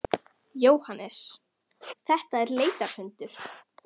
Jóhannes: Þetta er leitarhundur?